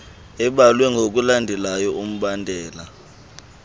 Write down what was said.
ebalwe ngokulandela umbandela